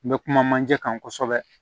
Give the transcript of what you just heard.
N bɛ kuma manje kan kosɛbɛ